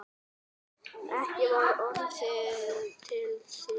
Ekki var orðið við því.